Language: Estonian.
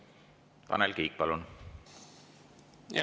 Tanel Kiik, palun!